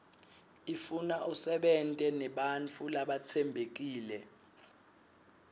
ifuna usebente nebantfu labatsembekile